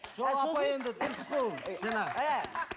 сол апай енді дұрыс қой